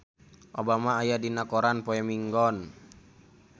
Obama aya dina koran poe Minggon